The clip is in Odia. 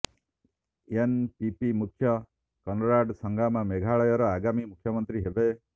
ଏନପିପି ମୁଖ୍ୟ କନରାଡ୍ ସାଙ୍ଗମା ମେଘାଳୟର ଆଗାମୀ ମୁଖ୍ୟମନ୍ତ୍ରୀ ହେବେ